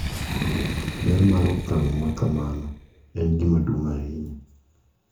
Ber mar okang` makamano en gima duong’ ahinya.